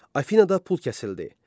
Afinada pul kəsildi.